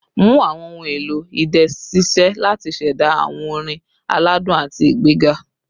Mu awọn ohun elo idẹ ṣiṣẹ lati ṣẹda awọn orin aladun ati igbega